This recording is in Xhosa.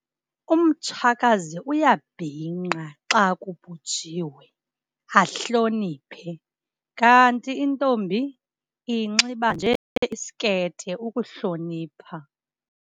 Umtshakazi uyabhinqa xa kubhujiwe ahloniphe, kanti intombi inxiba nje isikete ukuhlonipha.